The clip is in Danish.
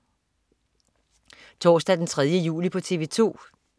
Torsdag den 3. juli - TV 2: